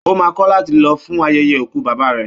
Ó maa kọ̀ láti lọ fún ayẹyẹ òkú bàbá rẹ̀